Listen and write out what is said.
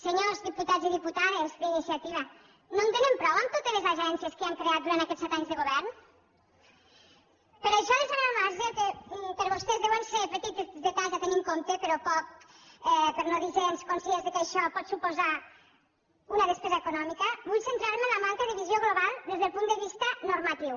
senyors diputats i diputades d’iniciativa no en tenen prou amb totes les agències que han creat durant aquests set anys de govern per això deixant al marge que per vostès deuen ser petits detalls a tenir en compte però poc per no dir gens conscients que això pot suposar una despesa econòmica vull centrar me en la manca de visió global des del punt de vista normatiu